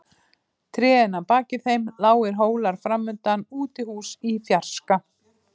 Trén að baki þeim, lágir hólar framundan, útihús í fjarska.